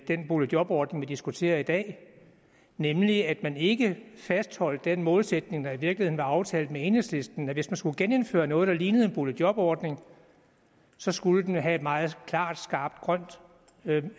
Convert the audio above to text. den boligjobordning vi diskuterer i dag nemlig at man ikke har fastholdt den målsætning der i virkeligheden var aftalt med enhedslisten om at hvis man skulle genindføre noget der lignede en boligjobordning så skulle den have et meget klart skarpt grønt